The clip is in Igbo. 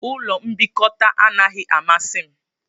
Ụlọ mbikota anaghị amasị m